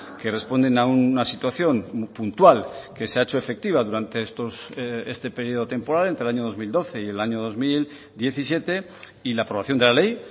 que responden a una situación puntual que se ha hecho efectiva durante este periodo temporal entre el año dos mil doce y el año dos mil diecisiete y la aprobación de la ley